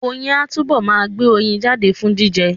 Oyin á túbọ̀ ma gbé oyin jáde fún jíjẹ